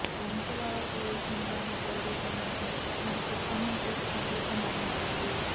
Vamsadhara creation బ్యానర్పై రూపొందిన చిత్రానికి థమన్ ఎస్ సంగీతం అందించాడు